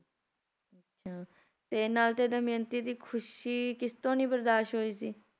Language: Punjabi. ਅੱਛਾ ਨਲ ਤੇ ਦਮਿਅੰਤੀ ਦੀ ਖੁਸ਼ੀ ਕਿਸ ਤੋਂ ਨੀ ਬਰਦਾਸ਼ ਹੋਈ ਸੀ